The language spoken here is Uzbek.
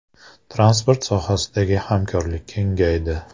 Transport sohasidagi hamkorlik kengaydi.